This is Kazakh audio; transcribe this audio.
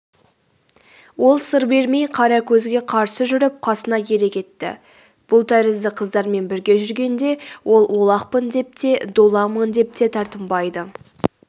ол сыр бермей қаракөзге қарсы жүріп қасына ере кетті бұл тәрізді қыздармен бірге жүргенде ол олақпын деп те долаңмын деп те тартынбайды